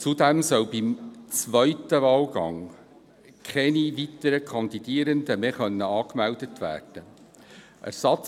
Zudem sollen bei zweiten Wahlgängen keine weiteren Kandidierenden mehr angemeldet werden können.